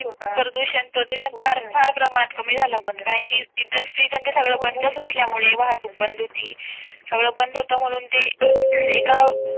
प्रदूषण प्रदूषण फार फार प्रमाणात कमी झाला पण कारण की इंडस्ट्रीज आणि ते सगळे बंदच असल्यामुळे वाहतूक बंद होती. सगळं बंद होतं म्हणून ते एका